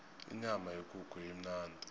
inyama yekukhu imnandi